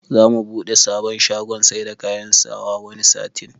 Za mu buɗe sabon shagon saida kayan sawa wani satin